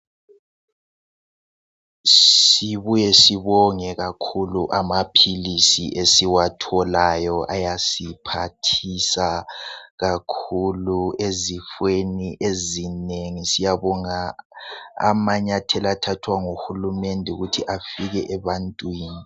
Sibuye sibonge kakhulu amaphilisi esiwatholayo ayasiphathisa Kakhulu ezifeni ezinengi. Siyabonga amanyathela athathwa nguhulumende ukuthi afike ebantwini.